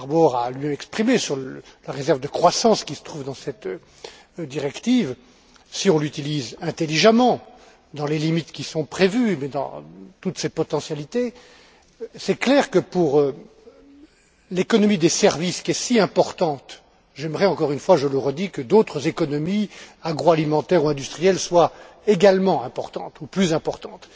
Harbour a exprimé sur la réserve de croissance qui se trouve dans cette directive, que si on l'utilise intelligemment, dans les limites qui sont prévues mais dans toutes ses potentialités, il est clair que, pour l'économie des services qui est si importante j'aimerais, je le redis encore une fois, que d'autres économies agroalimentaires ou industrielles soient également importantes ou plus importantes